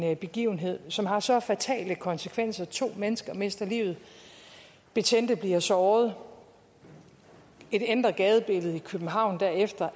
begivenhed som har så fatale konsekvenser to mennesker mister livet betjente bliver såret et ændret gadebillede i københavn derefter